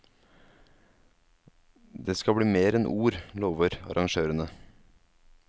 Det skal bli mer enn ord, lover arrangørene.